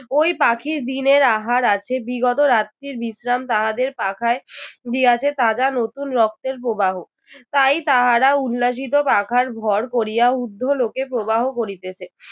ঐ পাখির দিনের আহার আছে বিগত রাত্রির বিশ্রাম তাহাদের পাখায় দিয়াছে তাজা নতুন রক্তের প্রবাহ। তাই তাহারা উল্লাসিত পাখার ভর করিয়া উর্দ্ধ লোকে প্রবাহ করিতেছে